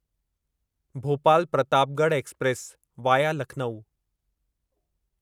Bhopal Pratapgarh express (via Lucknow)